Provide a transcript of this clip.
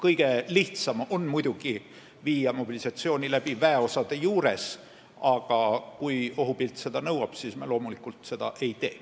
Kõige lihtsam on muidugi viia mobilisatsioon läbi väeosade juures, aga kui ohupilt seda nõuab, siis me loomulikult seda ei tee.